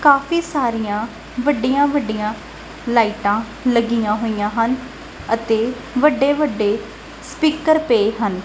ਕਾਫੀ ਸਾਰੀਆਂ ਵੱਡੀਆਂ ਵੱਡੀਆਂ ਲਾਈਟਾਂ ਲੱਗੀਆਂ ਹੋਈਆਂ ਹਨ ਅਤੇ ਵੱਡੇ ਵੱਡੇ ਸਪੀਕਰ ਪਏ ਹਨ।